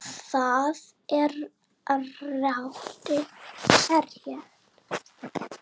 Þar er valdið lárétt.